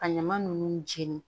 Ka ɲama nunnu jeni